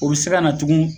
O bɛ se ka na tugun